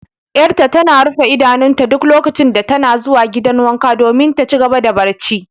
Yar'ta tana rufe idanunta duk lokacin da tana zuwa gidan wanka domin ta ci gaba da barci.